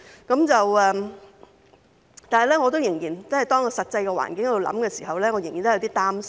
但是，當我想到實際環境的時候，仍然有點擔心。